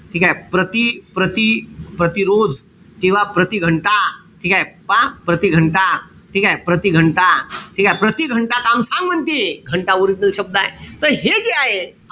ठीकेय? प्रति, प्रति प्रतिरोज, किंवा प्रतिघंटा ठीकेय? पहा प्रतिघंटा ठीकेय? प्रतिघंटा ठीकेय? प्रतिघंटा काम सांग म्हणते. घंटा original शब्द आहे. त हे जे आहे,